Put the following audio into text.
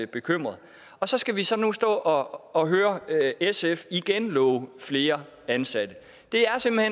bekymrede så skal vi så nu stå og høre sf igen love flere ansatte det er simpelt